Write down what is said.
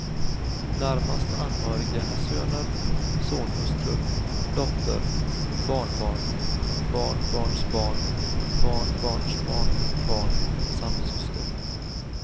Närmast anhöriga är söner, sonhustrur, dotter, barnbarn, barnbarnsbarn, barnbarnsbarnbarn samt syster.